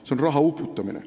See on raha uputamine.